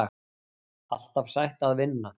Alltaf sætt að vinna